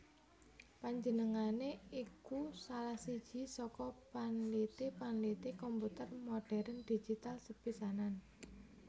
Panjenengané iku salah siji saka panliti panliti komputer modhèrn digital sepisanan